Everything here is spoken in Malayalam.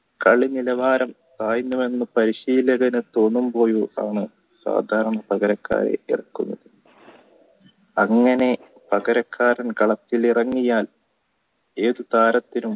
കളി നിലവാരം സാധാരണ പകരക്കാരെ ഇറക്കുന്നത് അങ്ങനെ പകരക്കാർ കളത്തിലിറങ്ങിയാൽ ഏതു താരത്തിനും